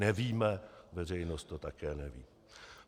Nevíme, veřejnost to také neví.